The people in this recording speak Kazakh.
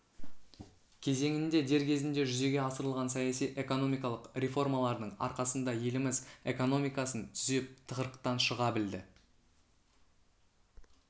кезеңінде дер кезінде жүзеге асырылған саяси экономикалық реформалардың арқасында еліміз экономикасын түзеп тығырықтан шыға білді